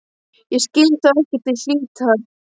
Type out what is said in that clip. Ég skil þá ekki til hlítar.